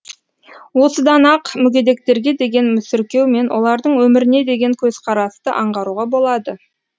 осыдан ақ мүгедектерге деген мүсіркеу мен олардың өміріне деген көзқарасты аңғаруға болады